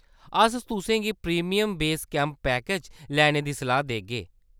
अस तुसें गी प्रीमियम बेस कैंप पैकेज लैने दी सलाह्‌‌ देगे।